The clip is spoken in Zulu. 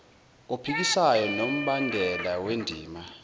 ophikisayo nombandela wendima